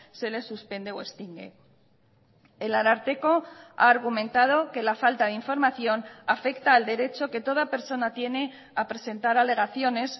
se les suspende o extingue el ararteko ha argumentado que la falta de información afecta al derecho que toda persona tiene a presentar alegaciones